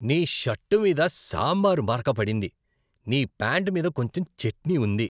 నీ షర్టు మీద సాంబార్ మరక పడింది, నీ ప్యాంటు మీద కొంచెం చట్నీ ఉంది.